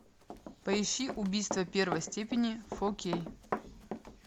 поищи убийство первой степени фо кей